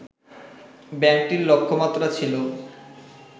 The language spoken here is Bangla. ব্যাংকটির লক্ষ্যমাত্রা ছিল